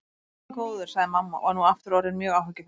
Guð minn góður, sagði mamma og var nú aftur orðin mjög áhyggjufull.